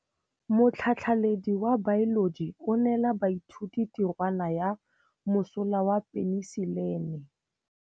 Motlhatlhaledi wa baeloji o neela baithuti tirwana ya mosola wa peniselene.